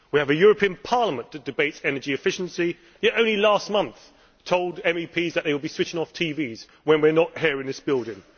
We have a European Parliament that debates energy efficiency yet only last month told MEPs that they would be switching off TVs when we are not here in this building.